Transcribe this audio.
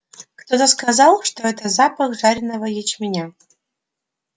кто-то сказал что это запах жареного ячменя